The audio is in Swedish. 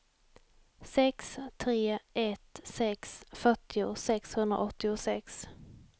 sex tre ett sex fyrtio sexhundraåttiosex